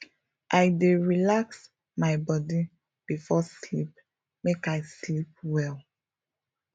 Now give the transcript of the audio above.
i dey relax my body before sleep make i sleep well